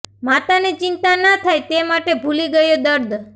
માતા ને ચિંતા ના થાય તે માટે ભૂલી ગયો દર્દ